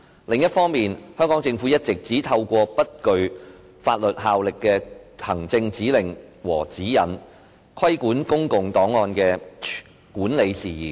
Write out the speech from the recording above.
另一方面，香港政府一直只透過不具法律效力的行政指令和指引，規管公共檔案的管理事宜。